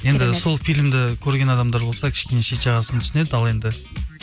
енді сол фильмді көрген адамдар болса кішкене шет жағасын түсінеді ал енді